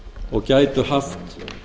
og gætu haft